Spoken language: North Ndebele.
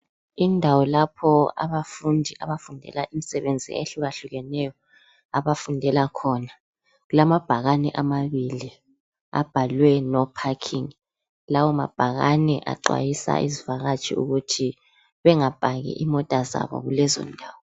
Indawo lapho abafundi abafundela imsebenzi eyehluyahlukeneyo abafundela khona. Kulamabhakani amabili abhalwe no parking. Lawo mabhakane aqondisa izivakatshi ukuthi bengapaki imota zabo kulezindawo